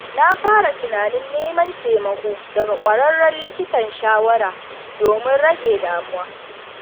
Na fara tunanin neman taimako daga ƙwararren likitan shawara domin rage damuwa.